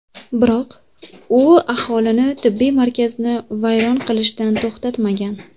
Biroq u aholini tibbiy markazni vayron qilishdan to‘xtatmagan.